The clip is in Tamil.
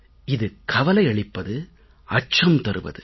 இது கவலையளிப்பது அச்சம் தருவது